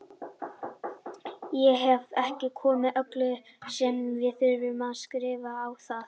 Ég hefði ekki komið öllu sem ég þurfti að skrifa á það.